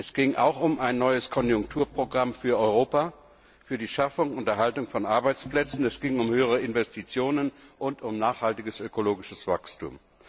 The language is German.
Es ging auch um ein neues Konjunkturprogramm für Europa, für die Schaffung und Erhaltung von Arbeitsplätzen, es ging um höhere Investitionen und um nachhaltiges ökologisches Wachstum.